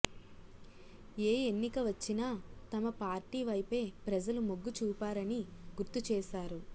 ఏ ఎన్నిక వచ్చినా తమ పార్టీ వైపే ప్రజలు మొగ్గు చూపారని గుర్తు చేశారు